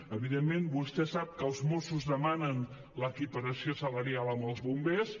evidentment vostè sap que els mossos demanen l’equiparació salarial amb els bombers